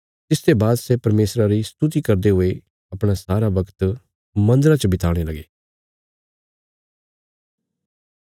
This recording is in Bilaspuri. तिसते बाद सै परमेशरा री स्तुति करदे हुये अपणा सारा बगत मन्दरा च बिताणे लगे